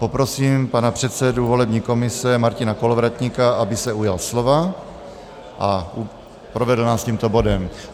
Poprosím pana předsedu volební komise Martina Kolovratníka, aby se ujal slova a provedl nás tímto bodem.